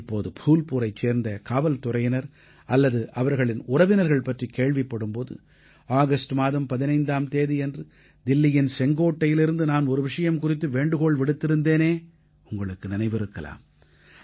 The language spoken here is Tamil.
இப்போது ஃபூல்புரைச் சேர்ந்த காவல்துறையினர் அல்லது அவர்களின் உறவினர்கள் பற்றிக் கேள்விப்படும் போது ஆகஸ்ட் மாதம் 15ஆம் தேதியன்று தில்லியின் செங்கோட்டையிலிருந்து நான் ஒரு விஷயம் குறித்து வேண்டுகோள் விடுத்திருந்தேனே உங்களுக்கு நினைவிருக்கலாம்